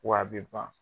Wa a bɛ ban